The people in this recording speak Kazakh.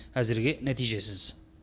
әзірге нәтижесіз